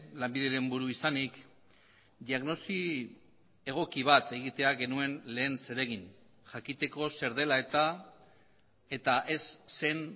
lanbideren buru izanik diagnosi egoki bat egitea genuen lehen zeregin jakiteko zer dela eta eta ez zen